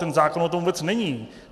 Ten zákon o tom vůbec není.